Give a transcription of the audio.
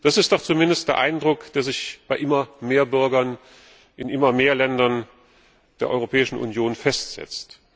Das ist doch zumindest der Eindruck, der sich bei immer mehr Bürgern in immer mehr Ländern der Europäischen Union festsetzt.